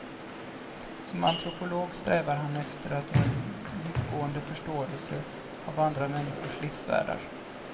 Som antropolog strävade han efter att nå en djupgående förståelse av andra människors livsvärldar.